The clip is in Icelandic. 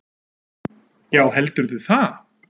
Já heldurðu það?